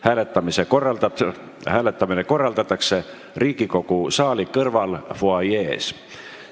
Hääletamine korraldatakse Riigikogu saali kõrval fuajees.